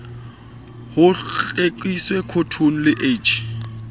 ho hlwekise khotone le h